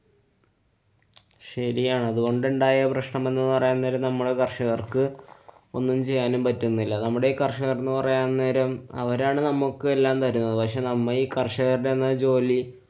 ശരിയാണ്. അതുകൊണ്ടുണ്ടായ പ്രശ്നമെന്നു പറയാന്‍ നേരം നമ്മളു കര്‍ഷകര്‍ക്ക് ഒന്നും ചെയ്യാനും പറ്റുന്നില്ല. നമ്മുടെ ഈ കര്‍ഷകര്‍ എന്ന് പറയാന്‍ നേരം അവരാണ് നമ്മുക്ക് എല്ലാം തരുന്നത്. പക്ഷെ നമ്മ ഈ കര്‍ഷകര്‍ടെന്ന ജോലി